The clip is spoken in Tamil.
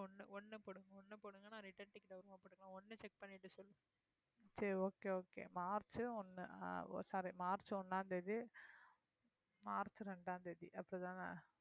சரி okay okay மார்ச் ஒண்ணு அஹ் ஓ sorry மார்ச் ஒண்ணாம் தேதி, மார்ச் ரெண்டாம் தேதி அப்படித்தானே